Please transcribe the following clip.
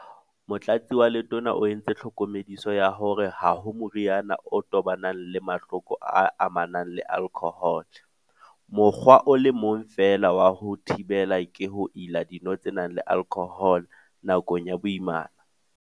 Motlatsi wa Letona o entse tlhokomediso ya hore ha ho moriana o tobanang le mahloko a amanang le alkhohole - mokgwa o le mong feela wa ho a thibela ke ho ila dino tse nang le alkhohole nakong ya boimana.